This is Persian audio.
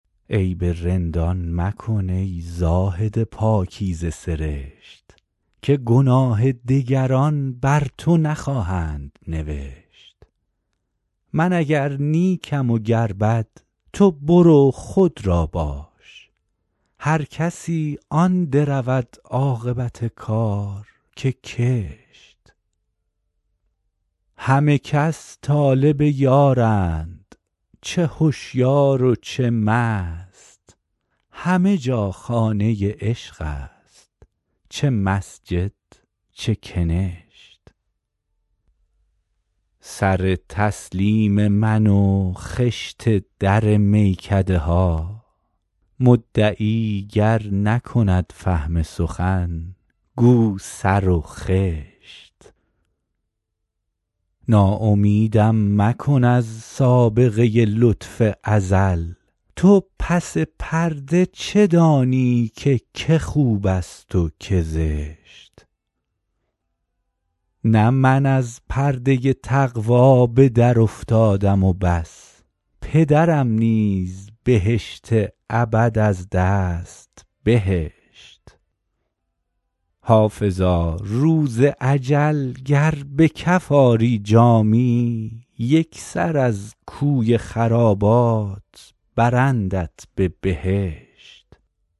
عیب رندان مکن ای زاهد پاکیزه سرشت که گناه دگران بر تو نخواهند نوشت من اگر نیکم و گر بد تو برو خود را باش هر کسی آن درود عاقبت کار که کشت همه کس طالب یارند چه هشیار و چه مست همه جا خانه عشق است چه مسجد چه کنشت سر تسلیم من و خشت در میکده ها مدعی گر نکند فهم سخن گو سر و خشت ناامیدم مکن از سابقه لطف ازل تو پس پرده چه دانی که که خوب است و که زشت نه من از پرده تقوا به درافتادم و بس پدرم نیز بهشت ابد از دست بهشت حافظا روز اجل گر به کف آری جامی یک سر از کوی خرابات برندت به بهشت